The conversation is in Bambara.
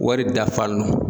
Wari dafa nɔ